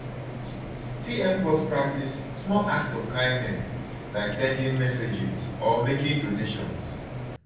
technology fit help us practice small acts of kindness like sending messages or making donations.